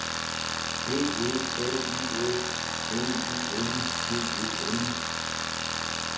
B E L Y S N I N G E N